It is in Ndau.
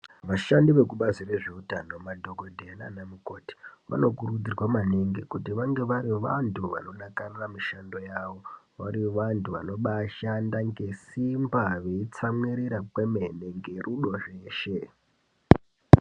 Vashandi vekubazi rezveutano, madhokoteya nanamukoti vanokurudzirwa maningi kuti vange vari vantu vanodakarira mishando yavo, vange vari vantu vanobaishanda ngesimba vachitsamwirira ngemene ngerudo.